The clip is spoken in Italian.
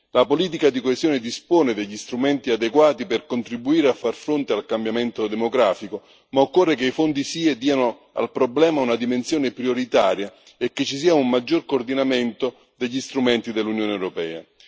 La politica di coesione dispone degli strumenti adeguati per contribuire a far fronte al cambiamento demografico, ma occorre che i fondi SIE diano al problema una dimensione prioritaria e che ci sia un maggior coordinamento degli strumenti dell'Unione europea.